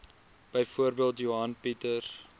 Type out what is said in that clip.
byvoorbeeld johan pieters